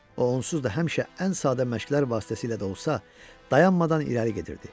O onsuz da həmişə ən sadə məşqlər vasitəsilə də olsa, dayanmadan irəli gedirdi.